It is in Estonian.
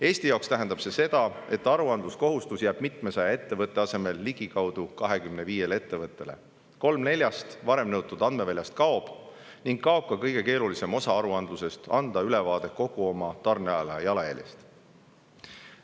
Eesti jaoks tähendab see seda, et aruandluskohustus jääb mitmesaja ettevõtte asemel ligikaudu 25 ettevõttele, kolm kuni neljast varem nõutud andmeväljast kaob, samuti jääb ära kõige keerulisem osa aruandlusest: anda ülevaade kogu oma tarneahela jalajäljest.